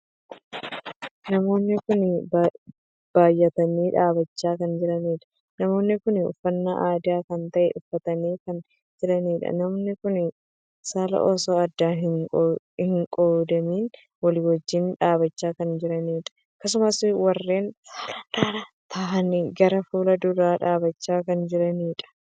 Namoonni kun baay'atanii dhaabbachaa kan jiraniidha. namoonni kun uffannaa aadaa kan tahee uffatanii kan jiraniidha. namoonni kun saalaan osoo addaan hin qoodamiin walii wajjin dhaabbachaa kan jiraniidha. akkasumas warreen saalaan dhalaa tahanii gara fuula duraa dhaabbachaa kan jiraniidha.